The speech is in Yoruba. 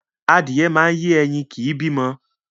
Adìyẹ máa ń yé ẹyin kìí bí ọmọ